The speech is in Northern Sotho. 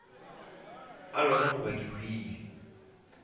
a lora goba ke hwile